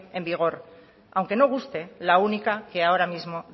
en vigor aunque no guste la única que ahora mismo